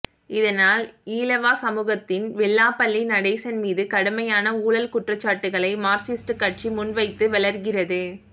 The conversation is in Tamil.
இதனால் ஈழவா சமூகத்தின் வெள்ளாபள்ளி நடேசன் மீது கடுமையான ஊழல் குற்றச்சாட்டுகளை மார்க்சிஸ்ட் கட்சி முன்வைத்து வௌர்கிறது